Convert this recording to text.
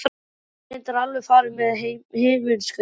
Hann hefur reyndar alveg farið með himinskautum.